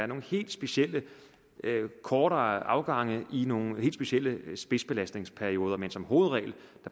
nogle helt specielle kortere afgange i nogle helt specielle spidsbelastningsperioder men som hovedregel